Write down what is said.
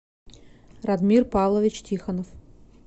радмир павлович тихонов